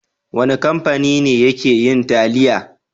Wane kamfani ne yake yin taliya?